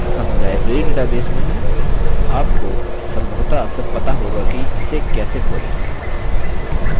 हम library database में हैं आपको सम्भवतः अब तक पता होगा कि इसे कैसे खोलें